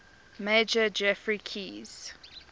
major geoffrey keyes